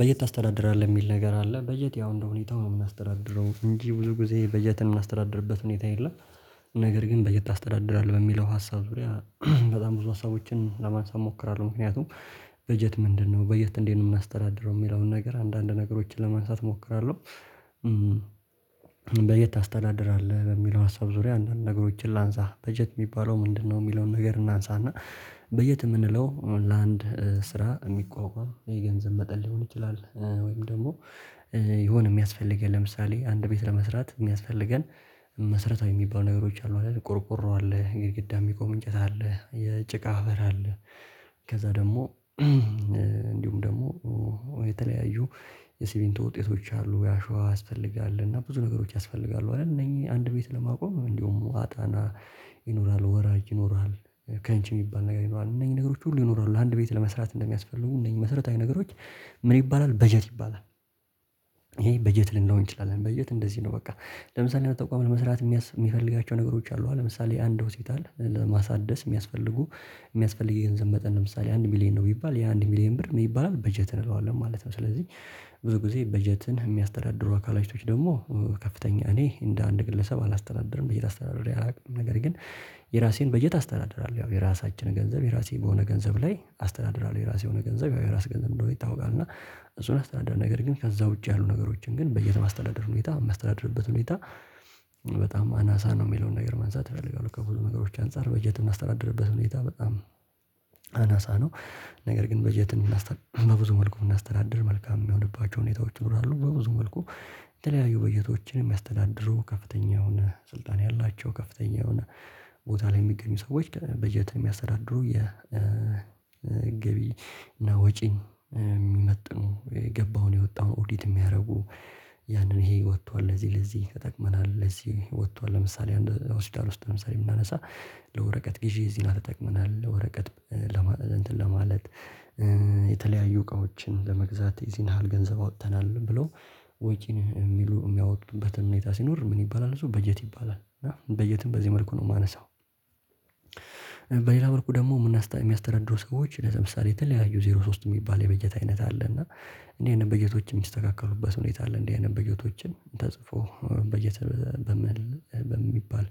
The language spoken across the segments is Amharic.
በጀት ታስተዳድራለህ? የሚል ነገር አለ በጀት ያው እንደሁኔታው ነው የምናስተዳድረው እንጂ ብዙ ጊዜ በጀት የምናስተዳድርበት ሁኔታ የለም። ነገር ግን በጀት ታስተዳድራለህ በሚለው ሀሳብ ዙሪያ በጣም ብዙ ሀሳቦችን ለማንሳት እሞክራለሁ ምክንያቱም በጀት ምንድነው በጀት እንዴት ነው የምናስተዳደረው? የሚለውን ነገር አንዳንድ ነገሮችን ለማንሳት እሞክራለው። በጀት ታስተዳደራለ በሚለው ሀሳብ ዙሪያ አንዳንድ ነገሮችን ላንሳ በጀት የሚባለው ምንድነው የሚለውን ነገር እናንሳና በጀት የምንለው ለአንድ ስራ የሚቋቋም የገንዘብ መጠን ሊሆን ይችላል ወይም ደግሞ የሆነ የሚያስፈልገን ለምሳሌ አንድ ቤት ለመስራት የሚያስፈልገን መስረታዊ የሚባሉ ነገሮች አሉ አይደል ቆርቆሮ አለ ግድግዳ የሚቆም እንጨት አለ የጭቃ ሀበር አለ ከዛ ደግሞ እንዲሁም ደግሞ የተለያዩ የሲምንቶ ውጤቶች አሉ ያአሸዋ ያስፈልጋል። እና ብዙ ነገሮች ያስፈልጋሉ አይደል እነኚህ አንድ ቤት ለማቆም እንደውም አጣና ይኖራል ወራጅ ይኖራል ከእንቺ የሚባል ነገር ይኖራል እነዚህ ነገሮች ሁሉ ይኖራሉ አንድ ቤት ለመስራት እንደሚያስፈልጉ እነኚህ መሰረታዊ ነገሮች ምን ይባላል በጀት ይባላል። ይሄ በጀት ልንለው እንችላለን በጀት እንደዚህ ነው በቃ ለምሳሌ አንድ ተቋም ለመስራት የሚፈልጋቸው ነ ገሮች አሉ ለምሳሌ አንድ ሆሲፒታል ለማሳደስ የሚያስፈልጉ የሚያስፈልግ የገንዘብ መጠን ለምሳሌ አንድ ሚሊየን ነው ቢባል የአንድ ሚሊየን ብር ምን ይባላል በጀት እንዋለን ማለት ነው ስለዚህ ብዙ ጊዜ በጀትን የሚያስተዳድሩ አካላቾች ደግሞ ከፍተኛ እኔ እንደ አንድ ግለሰብ አላስተናድርም በጀት አስተናድር ያላውቅም ነገር ግን የራሴን በጀት አስተናድራለሁ ያው የራሳችን ገንዘብ የራሴ በሆነ ገንዘብ ላይ አስተዳደራለው የራሴ የሆነ ገንዘብ ያው የራስ ገንዘብ እንደሆነ ይታወቃል እና እሱን አስተዳደር ነገር ግን ከዛ ውጪ ያሉ ነገሮችን ግን በየት በየተማስተዳደርነው ቤታ የማስተዳደርበት ሁኔታ በጣም አናሳ ነው የሚለውን ነገር መንሳት አፈልጋለዉ። ከብዙ ነገሮች አንፃር በጀት የምናስተዳድርበት ሁኔታ በጣም አነሳ ነው ነገር ግን በጀት እናስተ በብዙ መልኩ ብናስተናድር መልካም የሚሆንባቸው ሁኔታዎች ይኖራሉ በብዙ መልኩ የተለያዩ በጀቶችን የሚያስተዳድረው ከፍተኛ የሆነ ስልጣን ያላቸው ከፍተኛ የሆነ ቦታ ላይ የሚገኙ ሰዎች በጀት የሚያስተዳድሩ የገቢ ገቢ እና ወጪን የሚመጥኑ የገባውን የወጣውን ኦዲት የሚያረጉ ያንን ይሄ ወጥቷል ለዚህ ለዚህ ተጠቅመናል። ለዚህ ወጥቷል ለምሳሌ አንድ አውስዳር ውስጥ ለምሳሌ ብናነሳ ለወረቀት ግዢ እዚህ ያህል ተጠቅመናል። ወረቀት ለማ እንትን ለማለት የተለያዩ እቃዎችን ለመግዛት እዚህ ያህል ገንዘብ አውጥተናል ብሎ ወጪን የሚሉ የሚያወጡበትን ሁኔታ ሲኖር ምን ይባላል እሱ በጀት ይባላል በጀትን በዚህ መልኩ ነው የማነሳው። በሌላ መልኩ ደግሞ የሚያስተረድሩ ሰዎች ለምሳሌ የተለያዩ ዜሮ ሶስት የሚባል የበጀት አይነት አለ እና እንዴት ነው በጀቶች የሚስተካከሉበት ሁኔታ አለ እንዲህ አይነት በጀቶችን ተጽፎ በጀት በመል በሚባል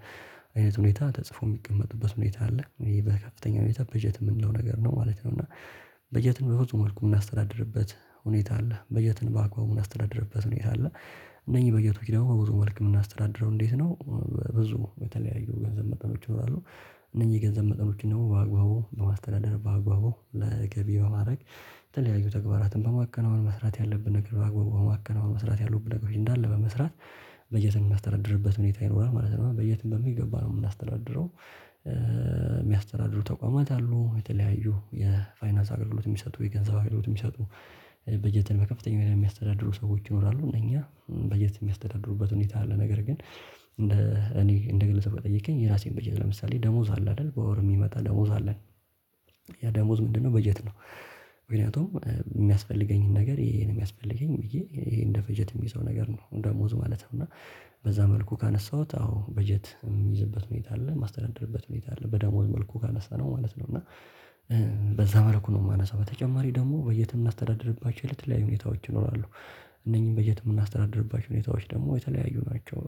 አይነት ሁኔታ ተጽፎ የሚቀመጡበት ሁኔታ አለ በከፍተኛ ሁኔታ በጀት የምንለው ነገር ነው ማለት ነው እና በጀትን በፈጽሞ መልኩ የምናስተዳድርበት ሁኔታ አለ። በጀትን በአግባቡ ምናስተዳደርበት ሁኔታ አለደ እነኚህ በጀቶች ደግሞ በብዙ መልክ የምናስተዳድረው እንዴት ነው? ብዙ በተለያዩ ገንዘብ መጠኖች ይኖራሉ እነዚህ ገንዘብ መጠኖችን ደግሞ በአግባቡ በማስተዳደር በአግባቡ ለገቢ በማድረግ የተለያዩ ተግባራትን በማከናወን መስራት ያለብን ነገር በአግባቡ በማከናወን መስራት ያሉብን ነገሮች እንዳለ በመስራት በጀት የሚያስተረድርበት ሁኔታ ይኖራል ማለት ነው። በጀትም በሚገባ ነው የምናስተዳድረው የሚያስተዳድሩ ተቋማት አሉ የተለያዩ የፋይናንስ አገልግሎት የሚሰጡ የገንዘብ አገልግሎት የሚሰጡ በጀትን በከፍተኛ የሚያስተዳድሩ ሰዎች ይኖራሉ። እኛ በጀት የሚያስተዳድሩበት ሁኔታ አለ ነገር ግን እንደ እንደ ግለሰብ ከጠየከኝ የራሴን በጀት ለምሳሌ ደሞዝ አለ አይደል በወር የሚመጣ ደሞዝ አለን ያ ደሞዝ ምንድነው በጀት ነው ምክንያቱም የሚያስፈልገኝን ነገር ይሄ ነው የሚያስፈልገኝ ብዬ ይሄ እንደ ፈጀት የሚይዘው ነገር ነው ደሞዝ ማለት ነው። እና በዛ መልኩ ካነሳሁት አዎ በጀት የሚይዝበት ሁኔታ አለ የማስተናደድርበት ሁኔታ አለ በደሞዝ መልኩ ካነሳነው ማለት ነው እና በዛ መልኩ ነው የማነሳው በተጨማሪ ደግሞ በጀትም ምናስተዳደርባቸው የተለያዩ ሁኔታዎች ይኖራሉ። እነኚህን በጀት የምናስተዳድርባቸው ሁኔታዎች ደግሞ የተለያዩ ናቸው።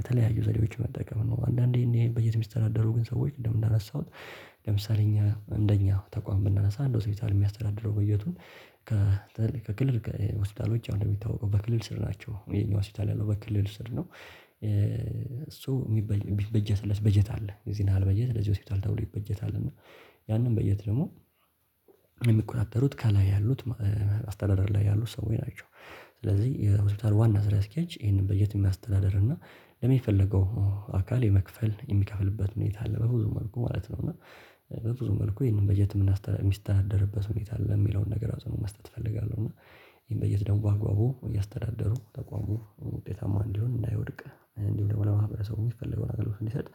የተለያዩ ዘዴዎች መጠቀም ነው አንዳንዴ እኔ በጀት ሚስቸዳዳረው ግን ሰዎች እንደምናነሳሁት ለምሳሌ እኛ እንደኛ ተቋም ብናነሳ አንድ ሆስፒታል የሚያስተዳድረው በጀቱን ከተ ከክልል መስተዳደሮች አንደሚታወቀው በክልል ስር ናቸው። የኛው ስር ያለው በክልል ስር ነው እሱ የሚበጀትለት በጀት አለ እዚህ ያህል በጀት ለዚህ ሆስፒታል ተብሎ ይበጀታል እና ያንን በጀት ደግሞ የሚቆጣጠሩት ከላይ ያሉት አስተዳደር ላይ ያሉት ሰዎች ናቸው። ስለዚህ የሆስፒታል ዋና ስራ አስኪያጅ ይሄንን በጀት የሚያስተዳድር እና ለሚፈለገው አካል የመክፈል የሚከፍልበት ሁኔታ አለ በብዙ መልኩ ማለት ነው። እና በብዙ መልኩ ይሄንን በጀት የምናስተላልፍ ሚስት አደረበት ሁኔታ አለ የሚለውን ነገር አፅኖቶ መስጠት እፈልጋለሁ እና ይሄን በጀት ደግሞ በአግባቡ እያስተዳደሩ ተቋሙ ውጤታማ እንዲሆን እንዳይወድቅ እንዲሁ ደግሞ ለማህበረሰቡ የሚፈልገውን አገልግሎት እንዲሰጥ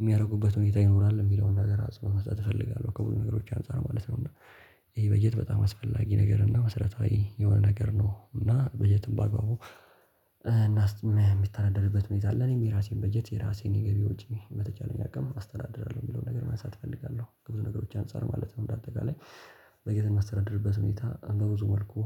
የሚያደርጉበት ሁኔታ ይኖራል የሚለውን ነገር አጽኖት መስጠት እፈልጋለዉ። ከብዙ ነገሮች አንፃር ማለት ነው እና ይሄ በጀት በጣም አስፈላጊ ነገር እና መሰረታዊ የሆነ ነገር ነው እና በጀትም በአግባቡ ምታዳደርበት ሁኔታ አለ እኔም የራሴን በጀት የራሴን የገቢ ወጪ በተቻለኝ አቅም አስተዳድራለሁ የሚለውን ነገር ማንሳት እፈልጋለሁ። ከብዙ ነገሮች አንፃር ማለት ነው እንደ አጠቃላይ በጀት የምናስተናድርበት ሁኔታ በብዙ መልኩ